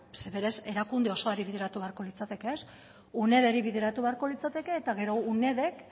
zeren eta berez erakunde osoari bideratu beharko litzateke unederi bideratuko litzateke eta gero unedek